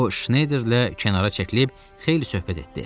O, Şneyderlə kənara çəkilib xeyli söhbət etdi.